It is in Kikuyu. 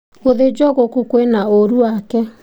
Gũthinjwo gũkũ kwina ũũru wake.